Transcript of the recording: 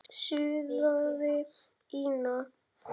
suðaði Ína.